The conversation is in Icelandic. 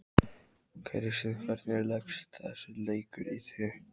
Kristinn, hvernig leggst þessi leikur í þig?